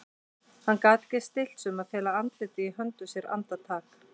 Hann gat ekki stillt sig um að fela andlitið í höndum sér andartak.